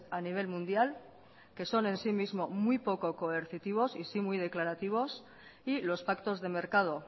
a nivel mundial que son en sí mismo muy poco coercitivos y sí muy declarativos y los pactos de mercado